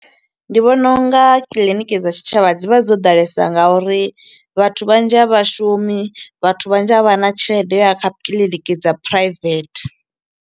Ndi vhona unga kiḽiniki dza tshitshavha dzi vha dzo ḓalesa nga uri vhathu vhanzhi a vhashumi, vhathu vhanzhi a vha na tshelede yo u ya kha kiḽiniki dza private.